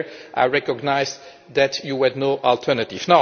So there I recognise that you had no alternative.